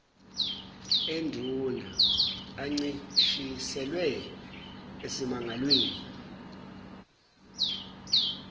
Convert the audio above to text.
enduna ancishiselwe esimangalweni